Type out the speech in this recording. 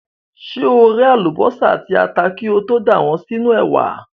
Ṣé o ré àlùbọ́sà àti ata kí o tó dà wọ́n sínú ẹ̀wà?